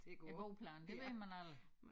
En bordplan det ved man aldrig